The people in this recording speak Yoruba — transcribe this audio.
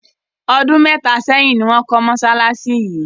Ọdún mẹ́ta sẹ́yìn ni wọ́n kọ́ mọ́ṣáláṣí yìí.